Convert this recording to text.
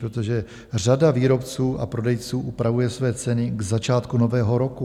Protože řada výrobců a prodejců upravuje své ceny k začátku nového roku.